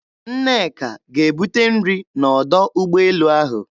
Nneka ga-ebute nrị n'ọdọ ụgbọelu ahụ.